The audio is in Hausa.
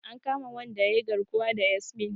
An kama wanda yayi garkuwa da Yasmin.